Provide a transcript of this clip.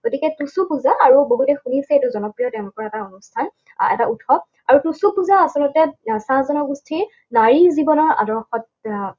গতিকে টুচু পূজা, আৰু বহুতে শুনিছে এইটো জনপ্ৰিয় তেওঁলোকৰ এটা অনুষ্ঠান। এটা উৎসৱ, আৰু টুচু পূজা আচলতে চাহ জনগোষ্ঠীৰ নাৰী জীৱনৰ আদৰ্শত আহ